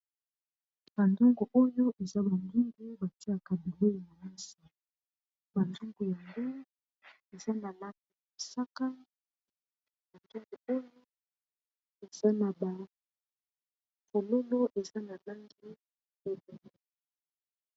banzungu oyo eza banginge batia y cabilei na nasi batangu yango eza na mapi saka bandango oyo eza na bafololo eza na bangi ebe